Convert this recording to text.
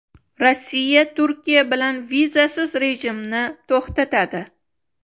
Rossiya Turkiya bilan vizasiz rejimni to‘xtatadi.